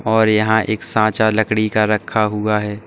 और यहां एक साचा लकड़ी का रखा हुआ है।